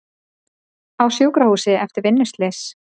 Á sjúkrahús eftir vinnuslys